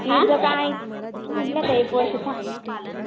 तिचं काय का एक वर्ष थांबणार